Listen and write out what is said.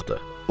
Yoxdur.